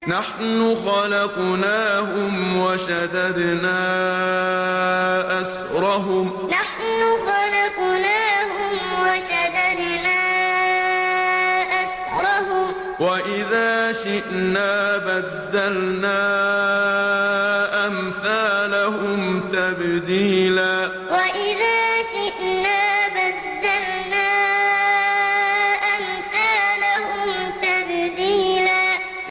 نَّحْنُ خَلَقْنَاهُمْ وَشَدَدْنَا أَسْرَهُمْ ۖ وَإِذَا شِئْنَا بَدَّلْنَا أَمْثَالَهُمْ تَبْدِيلًا نَّحْنُ خَلَقْنَاهُمْ وَشَدَدْنَا أَسْرَهُمْ ۖ وَإِذَا شِئْنَا بَدَّلْنَا أَمْثَالَهُمْ تَبْدِيلًا